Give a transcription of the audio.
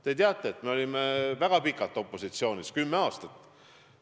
Te teate, et me olime väga pikalt opositsioonis – kümme aastat.